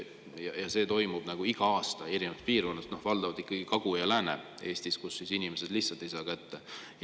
toimuvad iga aasta erinevates piirkondades, valdavalt Kagu- ja Lääne-Eestis, kus inimesed lihtsalt ei saa kätte.